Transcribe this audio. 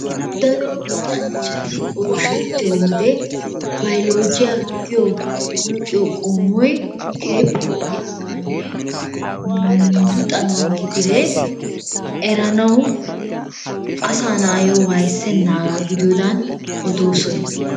Daro luxanchchati oyshshetiyo wode Baylojjiya giyo luxxiyo qommoy keehippe lo''iyaaganne luxanawu gidire eranawu asaa naayo wayssenaga gidiyoodan odoosona.